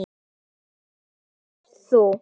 Svo komst þú.